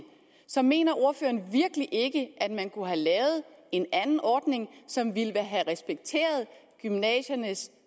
så mener ordføreren virkelig ikke at man kunne have lavet en anden ordning som ville have respekteret gymnasiernes